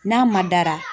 N'a ma dara